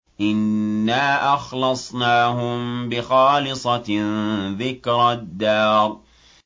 إِنَّا أَخْلَصْنَاهُم بِخَالِصَةٍ ذِكْرَى الدَّارِ